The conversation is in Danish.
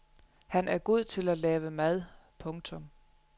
Han er god til at lave mad. punktum